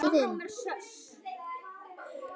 Frændi þinn?